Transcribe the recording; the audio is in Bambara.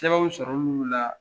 Sɛbɛnw sɔrɔ l'olu la